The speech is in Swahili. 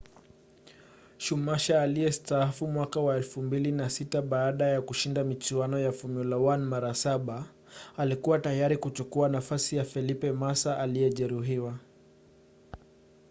schumacher aliyestaafu mwaka wa 2006 baada ya kushinda michuano ya formula 1 mara saba alikua tayari kuchukua nafasi ya felipe massa aliyejeruhiwa